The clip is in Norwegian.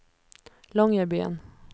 Longyearbyen